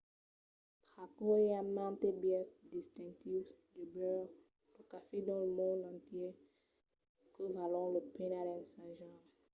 pr'aquò i a mantes biaisses distintius de beure lo cafè dins lo mond entièr que valon la pena d'ensajar